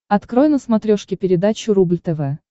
открой на смотрешке передачу рубль тв